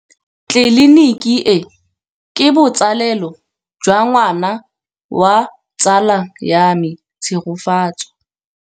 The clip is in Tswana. Tleliniki e, ke botsalêlô jwa ngwana wa tsala ya me Tshegofatso.